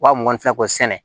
Wa muganfɛn ko sɛnɛ